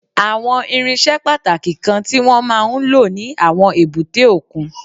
Àwọn irinṣẹ́ pàtàkì kan tí wọ́n máa ń lò ní àwọn èbúté òkun